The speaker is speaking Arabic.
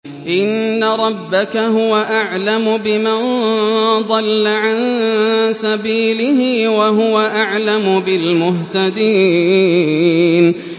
إِنَّ رَبَّكَ هُوَ أَعْلَمُ بِمَن ضَلَّ عَن سَبِيلِهِ وَهُوَ أَعْلَمُ بِالْمُهْتَدِينَ